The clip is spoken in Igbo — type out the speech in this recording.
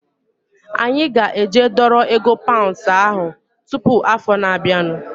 Anyị ga-eje dọrọ ego paunds ahu tụpụ afọ na-abianu